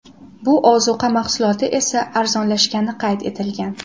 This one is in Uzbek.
Bu ozuqa mahsuloti esa arzonlashgani qayd etilgan.